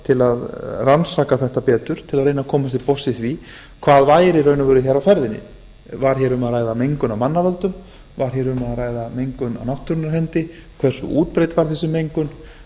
til að rannsaka þetta betur til að reyna að komast til botns í því hvað væri í raun og veru á ferðinni var um að ræða mengun af manna völdum var hér um að ræða mengun af náttúrunnar hendi hversu útbreidd var þessi mengun